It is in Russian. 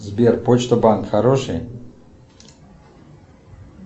сбер почта банк хороший